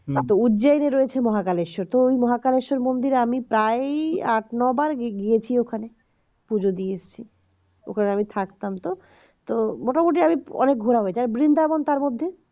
একটা উজ্জয়নী রয়েছে মহাকালেশ্বর তো ওই মহাকালেশ্বর মন্দির এ আমি প্রায় আট নয় বার গিয়েছি ওখানে পুজো দিয়ে এসেছি ওখানে আমি থাকতাম তো তো মোটামুটি আমি অনেক ঘোরা হয়ে গেছে আমি বৃন্দাবন তার মধ্যে